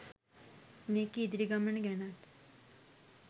මේකේ ඉදිරි ගමන ගැනත්